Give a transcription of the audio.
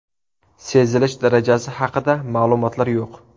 Sezilish darajasi haqida ma’lumotlar yo‘q.